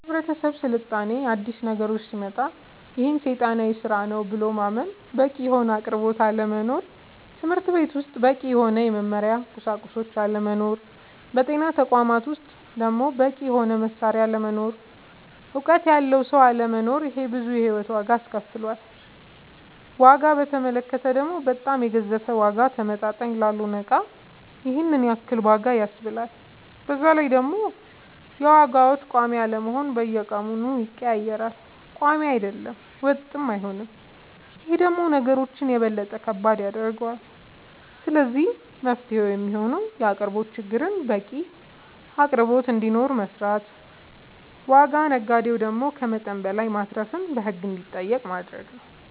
የህብረተሰብ ስልጣኔ አዲስ ነገሮች ሲመጣ ይሄ ሴጣናዊ ስራ ነው ብሎ ማመን በቂ የሆነ አቅርቦት አለመኖር ትምህርትቤት ውስጥ በቂ የሆነ የመማሪያ ቁሳቁስ አለመኖር በጤና ተቋማት ውስጥ ደሞ በቂ የሆነ መሳሪያ አለመኖር እውቀት ያለው ሰው አለመኖር ይሄ ብዙ የሂወት ዋጋ አስከፍሎል ዋጋ በተመለከተ ደሞ በጣም የገዘፈ ዋጋ ተመጣጣኝ ላልሆነ እቃ ይሄንን ያክል ዋጋ ያስብላል በዛላይ ደሞ የዋጋዎች ቆሚ አለመሆን በየቀኑ ይቀያየራል ቆሚ አይደለም ወጥም አይሆንም ይሄ ደሞ ነገሮች የበለጠ ከባድ ያደርገዋል ስለዚህ መፍትሄው የሚሆነው የአቅርቦት ችግርን በቂ አቅርቦት እንዲኖር መስራት ዋጋ ነጋዴው ደሞ ከመጠን በላይ ማትረፍን በህግ እንዲጠየቅ ማረግ